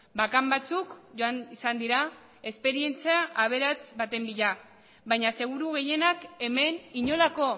bakan batzuk joan izan dira esperientzia aberats baten bila baina seguru gehienak hemen inolako